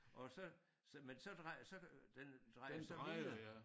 Og så så men så så den drejer så videre